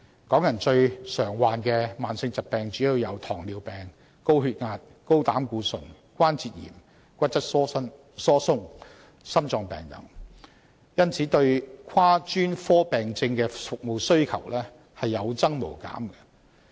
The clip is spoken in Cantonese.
港人最常患上的慢性疾病主要有糖尿病、高血壓、高膽固醇、關節炎、骨質疏鬆、心臟病等，因而對跨專科病症的服務需求有增無減。